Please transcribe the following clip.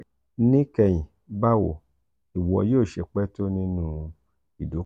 nikẹhin bawo iwọ yo se pẹ to ninu ido?